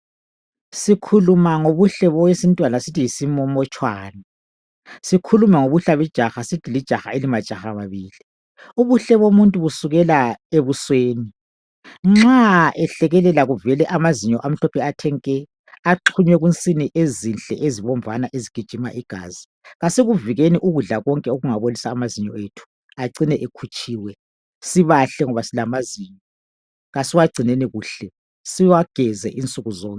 Sikhuluma ngobuhle bowesintwana sithi yisimomotshwana. Sikhulume ngobuhle bejaha sithi lijaha elimajaha babili. Ubuhle bomuntu busukela ebusweni. Nxa ehlekelela kuvele amazinyo amahlophe athe nke axhunywe kunsini ezinhle ezibomvana ezigijima igazi. Asikuvikeni ukudla konke okungabolisi amazinyo ethu acine ekhutshiwe. Sibahle ngoba silamazinyo. Kasiwagcineni kuhle. Siwageze insuku zonke.